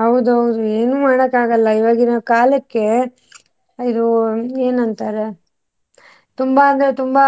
ಹೌದೌದು ಏನು ಮಾಡೋಕ್ ಆಗಲ್ಲ ಈವಾಗಿನ ಕಾಲಕ್ಕೆ ಆ ಇದು ಏನಂತಾರೆ ತುಂಬಾ ಅಂದ್ರೆ ತುಂಬಾ